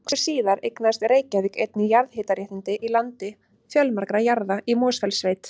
Nokkru síðar eignaðist Reykjavík einnig jarðhitaréttindi í landi fjölmargra jarða í Mosfellssveit.